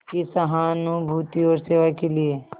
की सहानुभूति और सेवा के लिए